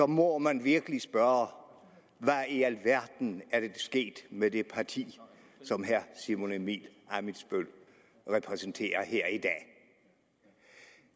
må man virkelig spørge hvad i alverden er der sket med det parti som herre simon emil ammitzbøll repræsenterer her